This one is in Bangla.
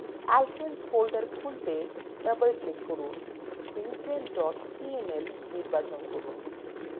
alkanes folder খুলতে double click করুন butane cml নির্বাচন করুন